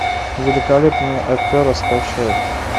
великолепная афера скачай